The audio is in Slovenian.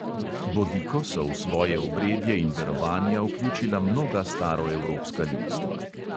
Bodiko so v svoje obredje in verovanja vključila mnoga staroevropska ljudstva.